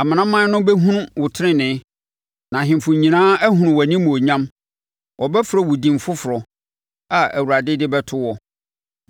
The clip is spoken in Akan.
Amanaman no bɛhunu wo tenenee, na ahemfo nyinaa ahunu wo animuonyam; wɔbɛfrɛ wo din foforɔ a Awurade de bɛto wo.